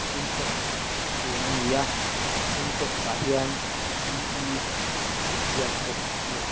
sintex hûn ani a sintex ah hian p e tih a inziak bawk ani.